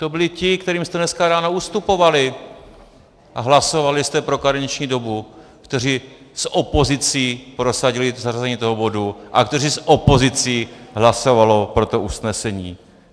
To byli ti, kterým jste dneska ráno ustupovali a hlasovali jste pro karenční dobu, kteří s opozicí prosadili zařazení toho bodu a kteří s opozicí hlasovali pro to usnesení.